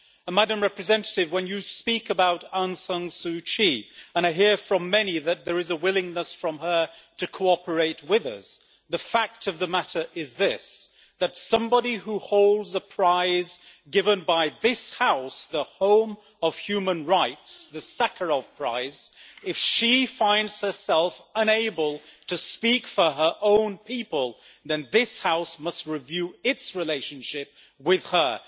Madam High Representative, when you speak about Aung San Suu Kyi and I hear from many that there is a willingness from her to cooperate with us the fact of the matter is this if somebody who holds a prize given by this House, the home of human rights the Sakharov Prize finds herself unable to speak for her own people, then this House must review its relationship with her.